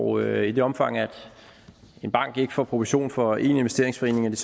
og i det omfang at en bank ikke får provision for én investeringsforening vil